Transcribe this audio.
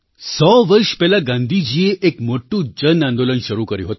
સો વર્ષ પહેલાં ગાંધીજીએ એક મોટું જન આંદોલન શરૂ કર્યું હતું